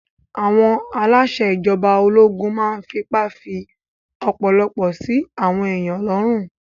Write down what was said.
Àwọn aláṣẹ ìjọba ológun máa n fipá fí ọ̀pọ̀lọpọ̀ sí àwọn èèyàn lọ́rùn